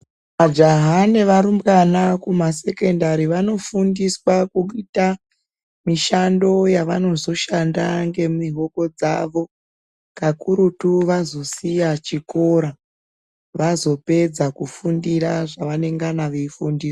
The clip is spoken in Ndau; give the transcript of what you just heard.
Majaha nevarumbwana kumasekendari vanofundiswa kuita mishando yavanozoshanda ngemihoko dzavo kakurutu vazosiya chikora vazopedza kufundira zvavanengana veifundia.